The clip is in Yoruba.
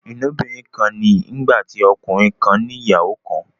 ilobirin kán ní nígbàtí ọkùnrin kán ní ìyàwó kán.